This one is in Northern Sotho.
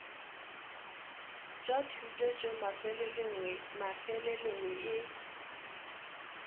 tša thuto tšeo mafelelong e